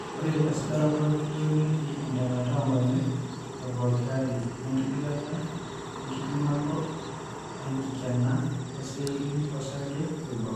Ore esujaroto keyieu netii entemata oonkonyek epooki ari oenkigilata enkipimoto enkikena ooceelli osarge oibor.